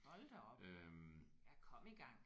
Hold da op! Ja kom i gang